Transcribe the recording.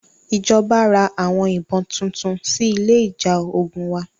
Ìjọba ra àwọn ìbọn tuntun sí ilé ìjà ogun wa.